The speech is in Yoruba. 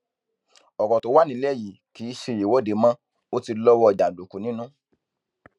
ọrọ tó wà nílẹ yìí kì í ṣe ìwọde mo ò ti lọwọ jàǹdùkú nínú